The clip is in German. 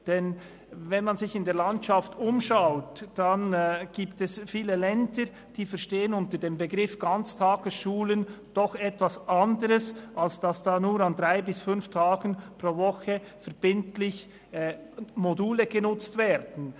Denn wenn man sich in der Landschaft umschaut, gibt es viele Länder, die unter dem Begriff «Ganztagesschulen» doch etwas anderes verstehen, als dass nur an drei bis fünf Tagen pro Woche verbindlich Module genutzt werden.